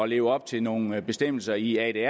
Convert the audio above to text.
leve op til nogle bestemmelser i